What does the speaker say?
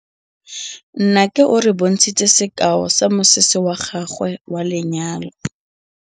Nnake o re bontshitse sekaô sa mosese wa gagwe wa lenyalo.